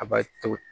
A b'a to